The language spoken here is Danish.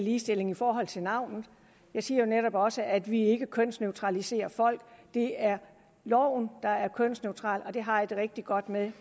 ligestilling i forhold til navnet jeg siger jo netop også at vi ikke kønsneutraliserer folk det er loven der er kønsneutral og det har jeg det rigtig godt med